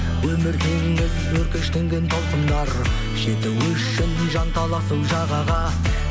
өмір теңіз өркештенген толқындар жету үшін жанталасып жағаға